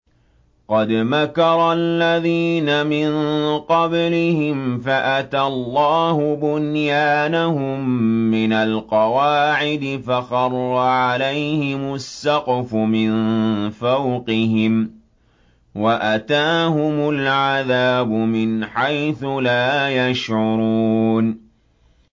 قَدْ مَكَرَ الَّذِينَ مِن قَبْلِهِمْ فَأَتَى اللَّهُ بُنْيَانَهُم مِّنَ الْقَوَاعِدِ فَخَرَّ عَلَيْهِمُ السَّقْفُ مِن فَوْقِهِمْ وَأَتَاهُمُ الْعَذَابُ مِنْ حَيْثُ لَا يَشْعُرُونَ